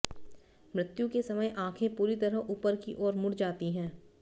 मृत्यु के समय आंखें पूरी तरह उपर की ओर मुड़ जाती हैं